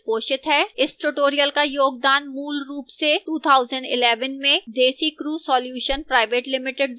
इस tutorial का योगदान मूलरूप से 2011 में desicrew solutions pvt ltd द्वारा दिया गया था